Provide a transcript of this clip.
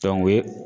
o ye